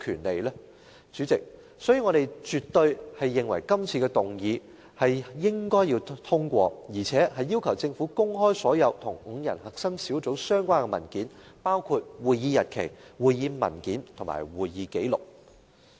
所以，主席，我絕對認為這項議案應該獲得通過，而且要求政府公開所有與5人核心小組相關的文件，包括會議日期、會議文件和會議紀錄。